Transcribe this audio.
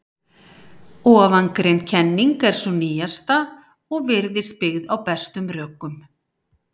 Ofangreind kenning er sú nýjasta og virðist byggð á bestum rökum.